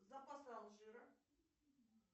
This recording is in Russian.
запасы алжира